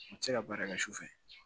U tɛ se ka baara kɛ su fɛ